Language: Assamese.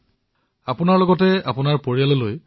কিন্তু আপুনি নিয়মসমূহ পালন কৰি নিজৰ পৰিয়ালক ৰক্ষা কৰিলে